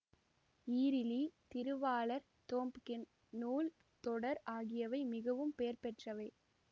ஈறிலி திருவாளர் தோம்ப்கின் நூல் தொடர் ஆகியவை மிகவும் பெயர்பெற்றவை